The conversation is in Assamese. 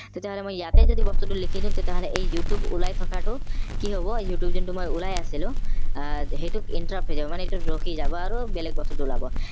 তেতিয়া হলে মই ইয়াতে যদি বস্তুটো লিখি দিও তেতিয়া হলে এই youtube ওলাই থকাটো কি হব youtube যোনটো মই ওলাই আছিলো আহ সেইটোক মানে এইটো ৰখি যাব আৰু বেলেগ বস্তুটো ওলাব